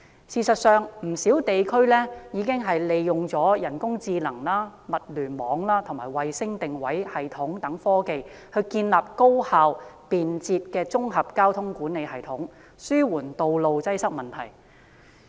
事實上，全球不少地區已經利用人工智能、物聯網和衞星定位系統等科技，建立高效便捷的綜合交通管理系統，紓緩道路擠塞的問題。